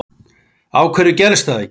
Af hverju gerist það ekki